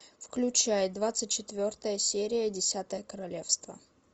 включай двадцать четвертая серия десятое королевство